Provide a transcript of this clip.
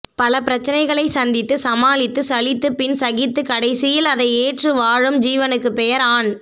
பலபிரச்சனைகளை சந்தித்து சமாளித்து சலித்துபின் சகித்து கடைசியில் அதை ஏற்று வாழும் ஜீவனுக்குப் பெயர் ஆண்